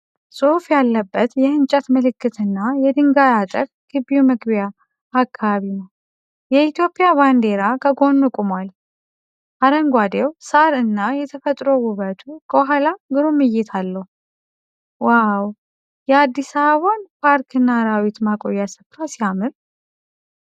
ጽሑፍ ያለበት የእንጨት ምልክትና የድንጋይ አጥር ግቢው መግቢያ አካባቢ ነው። የኢትዮጵያ ባንዲራ ከጎኑ ቆሟል። አረንጓዴው ሳር እና የተፈጥሮ ውበቱ ከኋላ ግሩም እይታ አለው። "ዋው! የአዲስ አበባን ፓርክና አራዊት ማቆያ ስፍራ ሲያምር!"